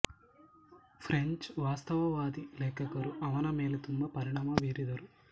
French ವಾಸ್ತವತಾವಾದಿ ಲೇಖಕರು ಅವನ ಮೇಲೆ ತುಂಬಾ ಪರಿಣಾಮ ಬೀರಿದರು